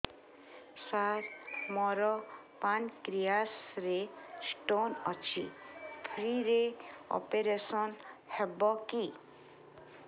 ସାର ମୋର ପାନକ୍ରିଆସ ରେ ସ୍ଟୋନ ଅଛି ଫ୍ରି ରେ ଅପେରସନ ହେବ କି